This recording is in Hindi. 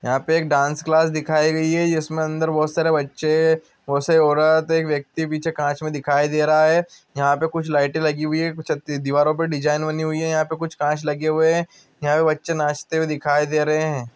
यहाँ पे एक डांस क्लास दिखाइ गई है इसमें अन्दर बहुत सारे बच्चे है बहुत सारी ओरत एक वयक्ति पीछे कांच में दिखाए दे रहे है यहां पे कुछ लाइट लगी हुए कुछ दीवारो पे डिज़ाइन वनी हुए यहाँ पे कुछ कांच लगे हुए यहाँ बच्चे नाचते दिखाई दे रहे है|